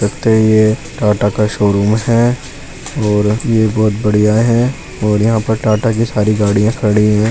लगता है यह टाटा का शोरूम है और यह बहुत बढ़िया है और यहां पर टाटा की सारी गाड़ियां खड़ी है |